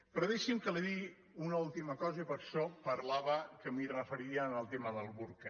però deixi’m que li digui una última cosa i per això parlava que m’hi referiria al tema del burca